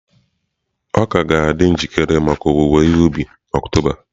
Ọka ga-adị njikere maka owuwe ihe ubi na Oktoba.